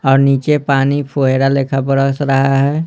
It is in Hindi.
और नीचे पानी फोएरा लेखा बरस रहा है।